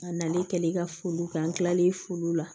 A nalen kɛlen ka foliw kɛ an kilalen foliw la